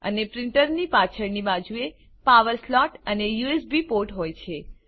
અને પ્રીંટરની પાછળની બાજુએ પાવર સ્લોટ અને યુએસબી પોર્ટ હોય છે